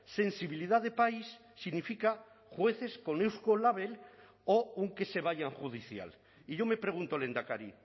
sensibilidad de país significa jueces con eusko label o un que se vayan judicial y yo me pregunto lehendakari